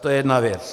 To je jedna věc.